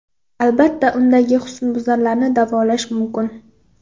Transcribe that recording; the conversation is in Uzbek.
Albatta, undagi husnbuzarlarni davolash mumkin.